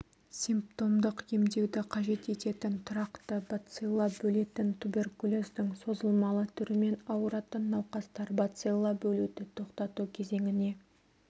симптомдық емдеуді қажет ететін тұрақты бацилла бөлетін туберкулездің созылмалы түрімен ауыратын науқастар бацилла бөлуді тоқтату кезеңіне